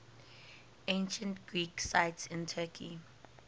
ancient greek sites in turkey